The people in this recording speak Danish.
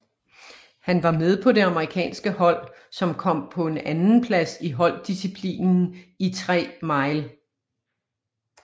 Han var med på det amerikanske hold som kom på en andenplads i holddisciplinen i 3 mile